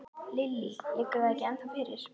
Lillý: Liggur það ekki ennþá fyrir?